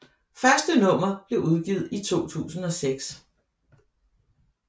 Første nummer blev udgivet i 2006